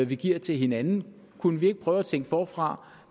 vi giver til hinanden kunne vi ikke prøve at tænke forfra